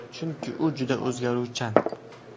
Chunki u juda o‘zgaruvchan”.